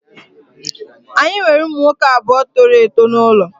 Anyị nwere ụmụ nwoke abụọ toro eto n'ụlọ